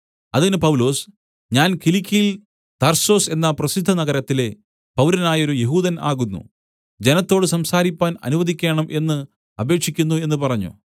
അതിന് പൗലൊസ് ഞാൻ കിലിക്യയിൽ തർസൊസ് എന്ന പ്രസിദ്ധ നഗരത്തിലെ പൗരനായൊരു യെഹൂദൻ ആകുന്നു ജനത്തോട് സംസാരിപ്പാൻ അനുവദിക്കേണം എന്ന് അപേക്ഷിക്കുന്നു എന്നു പറഞ്ഞു